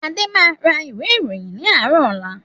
Adé máa ra ìwé ìròyìn ni àárọ̀ ọ̀la.